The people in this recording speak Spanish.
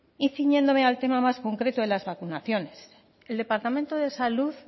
y ciñéndome al tema más concreto de las vacunaciones el departamento de salud